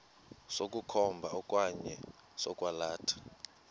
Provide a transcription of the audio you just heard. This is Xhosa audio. sokukhomba okanye sokwalatha